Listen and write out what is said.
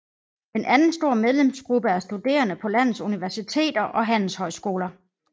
En anden stor medlemsgruppe er studerende på landets universiteter og handelshøjskoler